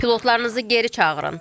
Pilotlarınızı geri çağırın.